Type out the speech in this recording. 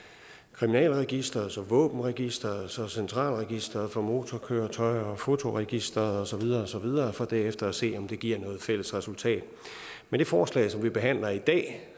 kriminalregisteret så våbenregisteret og så centralregisteret for motorkøretøjer og fotoregisteret og så videre og så videre for derefter at se om det giver et fælles resultat med det forslag vi behandler i dag